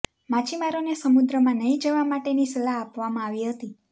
માછીમારોને સમુદ્રમાં નહી જવા માટેની સલાહ આપવામાં આવી હતી